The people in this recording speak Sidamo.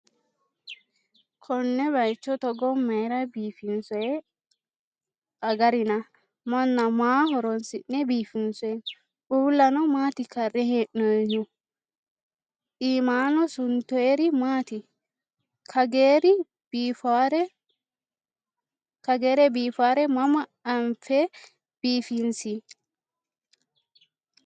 Konne bayiicho Togo mayiira biifinsoyi agarina? Maanna maa horonsi'ne biifinsoyi? Uullano maati karre hee'noyihu? Iimannino suntoyiiri maati? Kageere biifawore mama afi'ne biifinsi?